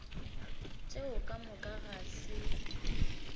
tšeo ka moka ga se